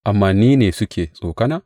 Amma ni ne suke tsokana?